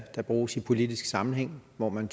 der bruges i politisk sammenhæng hvor man